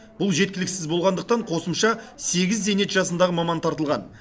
бұл жеткіліксіз болғандықтан қосымша сегіз зейнет жасындағы маман тартылған